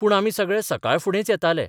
पूण आमी सगळे सकाळफुडेंच येताले.